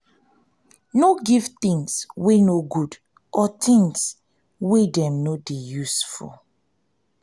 no give things wey no good or things wey no dey useful